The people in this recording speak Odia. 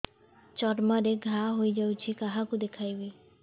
ଚର୍ମ ରେ ଘା ହୋଇଯାଇଛି କାହାକୁ ଦେଖେଇବି